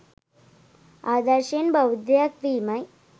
ආදර්ශයෙන් බෞද්ධයෙක් වීමයි.